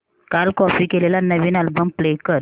काल कॉपी केलेला नवीन अल्बम प्ले कर